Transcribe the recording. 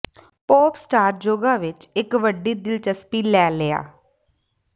pop star yoga ਵਿੱਚ ਇੱਕ ਵੱਡੀ ਦਿਲਚਸਪੀ ਲੈ ਲਿਆ